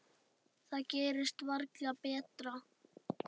Það gerist varla betra.